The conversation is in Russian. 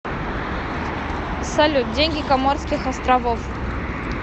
салют деньги коморских островов